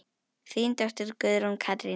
Þín dóttir, Guðrún Katrín.